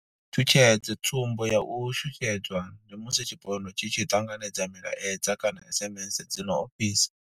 Tshutshedzo, Tsumbo ya u shushedzwa ndi musi tshipondwa tshi tshi ṱanganedza milaedza kana SMS dzi no ofhisa.